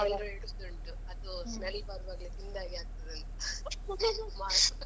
ಎಲ್ಲರಿಗೆ interest ಉಂಟು ಅದು ಸ್ಮೆಲ್ ಬರುವಾಗ್ಲೇ ತಿಂದ ಹಾಗೆ ಆಗ್ತದಂತ